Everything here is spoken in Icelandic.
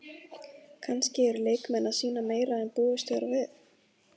Kannski eru leikmenn að sýna meira en búist var við?